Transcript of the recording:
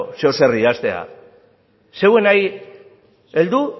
zeozer idaztea zeuenari heldu